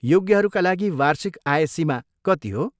योग्यहरूका लागि वार्षिक आय सीमा कति हो?